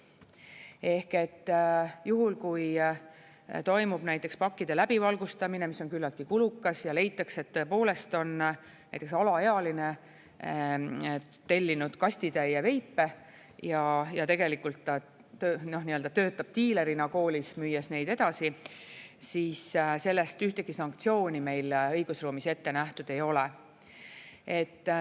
Ehk juhul, kui toimub näiteks pakkide läbivalgustamine, mis on küllaltki kulukas, ja leitakse, et tõepoolest on näiteks alaealine tellinud kastitäie veipe ja ta töötab diilerina koolis, müües neid edasi, siis selle eest ühtegi sanktsiooni meil õigusruumis ette nähtud ei ole.